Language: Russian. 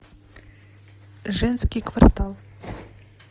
женский квартал